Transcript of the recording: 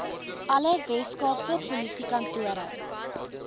alle weskaapse polisiekantore